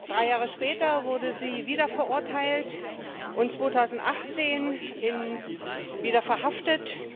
Drei Jahre später wurde sie wieder verurteilt und 2018 wieder verhaftet.